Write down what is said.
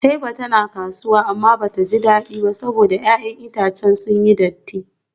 Taiba tana kasuwa amma bata ji dadi ba saboda 'ya'yan itacen sun datti.